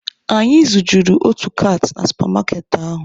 Anyị zujuru otu kaati na supa maaketị ahụ.